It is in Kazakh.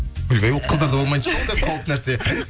ойбай ол қыздарда болмайтын шығар ондай қауіпті нәрсе